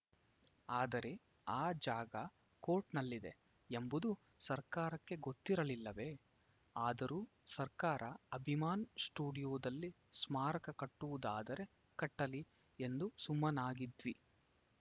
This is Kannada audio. ಆದರೆ ಆ ಜಾಗ ಕೋರ್ಟ್‌ನಲ್ಲಿದೆ ಎಂಬುದು ಸರ್ಕಾರಕ್ಕೆ ಗೊತ್ತಿರಲಿಲ್ಲವೇ ಆದರೂ ಸರ್ಕಾರ ಅಭಿಮಾನ್‌ ಸ್ಟುಡಿಯೋದಲ್ಲಿ ಸ್ಮಾರಕ ಕಟ್ಟುವುದಾದರೆ ಕಟ್ಟಲಿ ಎಂದು ಸುಮ್ಮನಾಗಿದ್ವಿ